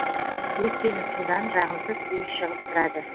өйткені судан жағымсыз иіс шығып тұрады